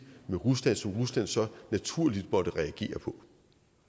med rusland som rusland så naturligt måtte reagere på